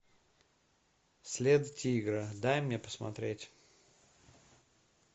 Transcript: след тигра дай мне посмотреть